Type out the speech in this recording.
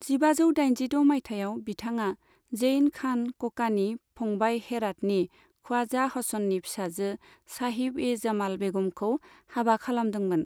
जिबाजौ दाइनजिद' माइथायाव, बिथाङा जैन खान ककानि फंबाय हेरातनि ख्वाजा हसननि फिसाजो साहिब ए जमाल बेगमखौ हाबा खालामदोंमोन।